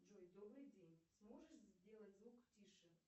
джой добрый день сможешь сделать звук тише